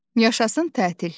Yaşasın tətil!